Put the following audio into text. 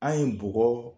An ye bɔgɔ